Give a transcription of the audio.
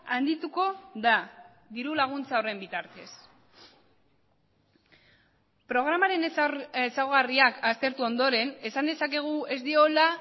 handituko da diru laguntza horren bitartez programaren ezaugarriak aztertu ondoren esan dezakegu ez diola